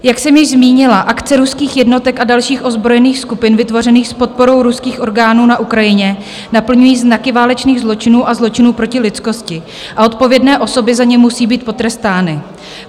Jak jsem již zmínila, akce ruských jednotek a dalších ozbrojených skupin vytvořených s podporou ruských orgánů na Ukrajině naplňují znaky válečných zločinů a zločinů proti lidskosti a odpovědné osoby za ně musí být potrestány.